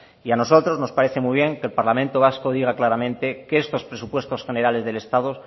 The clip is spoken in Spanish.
y a nosotros nos parece muy bien que el parlamento vasco diga claramente que estos presupuesto generales del estado